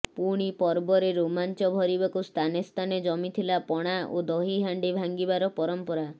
ପୁଣି ପର୍ବରେ ରୋମାଞ୍ଚ ଭରିବାକୁ ସ୍ଥାନେସ୍ଥାନେ ଜମିଥିଲା ପଣା ଓ ଦହି ହାଣ୍ଡି ଭାଙ୍ଗିବାର ପରମ୍ପରା